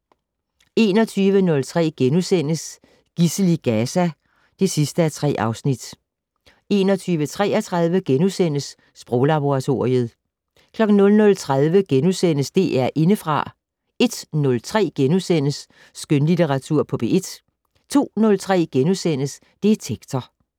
21:03: Gidsel i Gaza (3:3)* 21:33: Sproglaboratoriet * 00:30: DR Indefra * 01:03: Skønlitteratur på P1 * 02:03: Detektor *